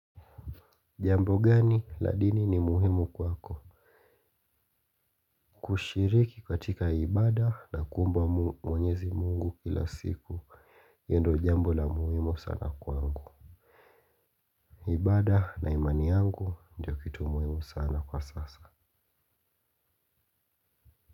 Jambo gani la dini ni muhimu kwako. Kushiriki katika ibaada na kuomba mwenyezi mungu kila siku. Hilo ndio jambo la muhimu sana kwangu. Ibaada na imani yangu ndio kitu muhimu sana kwa sasa.